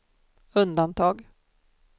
undantag